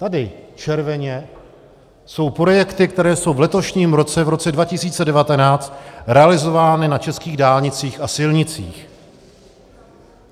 Tady červeně jsou projekty, které jsou v letošním roce, v roce 2019, realizovány na českých dálnicích a silnicích.